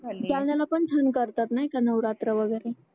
झाली जालन्याला पण छान करतात नाही का नवरात्र वगेरे